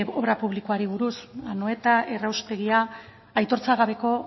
obra publikoari buruz anoeta erraustegia aitortza gabeko